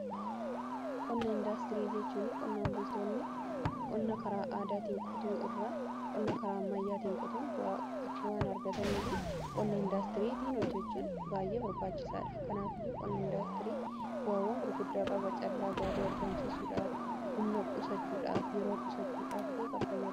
qonna indaastirii jechuun qonnaan bultoonni qonna karaa aadaatiin qotuu irraa qonna karaa ammayyaatiin qotuun bu'aakka waan argatanii fi qonna indaastirii tiin hojjechuun baay'ee barbaachisaadha kanaaf iyyuu qonna indaastirii bu'aawwan gurguddaa qaba caallaa gaarii argamsiisuudhaaf humna qusachuudhaaf yeroo qusachuudhaaf ille kan gargaarudha.